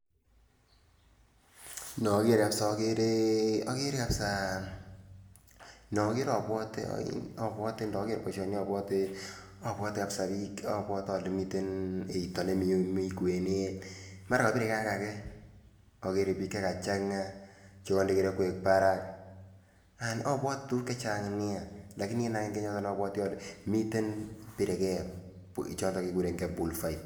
Nager kabisa agere, agere kabisa noger abwate ,ndager boisyoni abwate kabisa bik, abwate ale miten eita nemi kwenet, mara kabireken ak ake, agere bik chekachanga chekande kirokwek barak, abwate tukuk chechang nia, lakini kit akenge nabwate ale miten chebireken choton chekikuren bull fight.